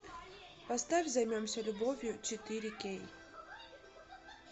поставь займемся любовью четыре кей